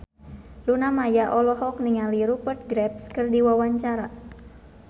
Luna Maya olohok ningali Rupert Graves keur diwawancara